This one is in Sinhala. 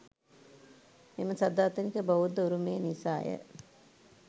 මෙම සදාතනික බෞද්ධ උරුමය නිසාය.